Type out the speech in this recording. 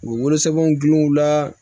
U bɛ wolosɛbɛnw gun u la